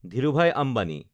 Dhirubhai Ambani